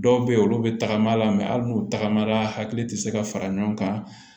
Dɔw bɛ yen olu bɛ tagama la ali n'u tagamara hakili tɛ se ka fara ɲɔgɔn kan